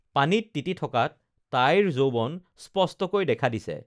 পানীত তিতি থকাত তাইৰ যৌৱন স্পষ্টকৈ দেখা দিছে